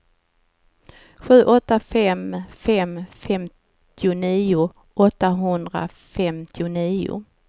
sju åtta fem fem femtionio åttahundrafemtionio